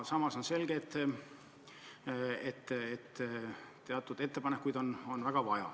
Samas on selge, et teatud ettepanekuid on väga vaja.